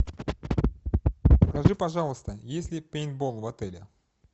скажи пожалуйста есть ли пейнтбол в отеле